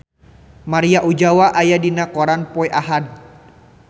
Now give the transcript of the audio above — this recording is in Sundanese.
Maria Ozawa aya dina koran poe Ahad